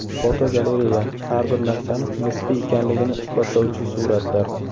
Fotogalereya: Har bir narsani nisbiy ekanligini isbotlovchi suratlar.